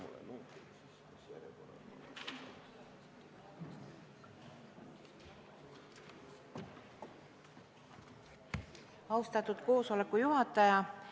Austatud koosoleku juhataja!